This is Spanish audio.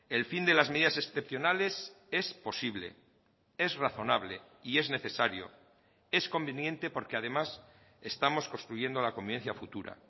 el fin de las medidas excepcionales es posible es razonable y es necesario es conveniente porque además estamos construyendo la convivencia futura